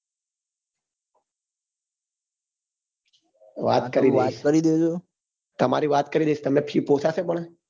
વાત કરી દઈસ તમારી વાત કરી દઈસ તમને fee પોસાશે પણ